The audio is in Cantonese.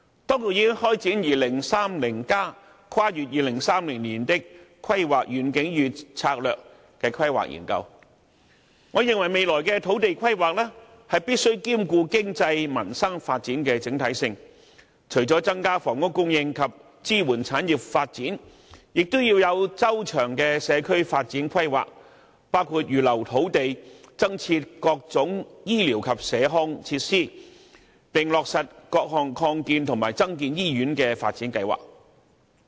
當局已開展《香港 2030+： 跨越2030年的規劃遠景與策略》規劃研究，我認為未來的土地規劃，必須兼顧經濟民生發展的整體性，除了增加房屋供應及支援產業發展，也要有周詳的社區發展規劃，包括預留土地，增設各種醫療及社康設施，並落實各項擴建和增建醫院的發展計劃。